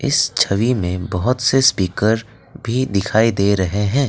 इस छवि में बहुत से स्पीकर भी दिखाई दे रहे हैं।